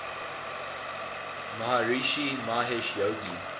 maharishi mahesh yogi